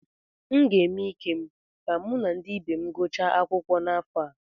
M ga-eme ike m ka mụ na ndị ibe m gụchaa akwụkwọ n’afọ a.